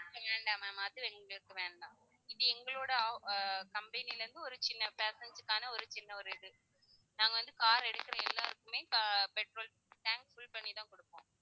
வேண்டாம் ma'am அது எங்களுக்கு வேண்டாம் இது எங்களுடைய of~ ஆஹ் company லருந்து ஒரு சின்ன passenger க்கான ஒரு சின்ன ஒரு இது. நாங்க வந்து car எடுக்கிற எல்லாருக்குமே ca~ petrol tank fill பண்ணி தான் குடுப்போம்